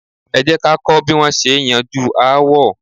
Ẹ jẹ́ ká kọ́ bí wón ṣe é yanjú aáwọ̀.